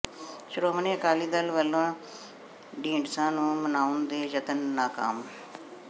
ਸ਼੍ਰੋਮਣੀ ਅਕਾਲੀ ਦਲ ਵੱਲੋਂ ਢੀਂਡਸਾ ਨੂੰ ਮਨਾਉਣ ਦੇ ਯਤਨ ਨਾਕਾਮ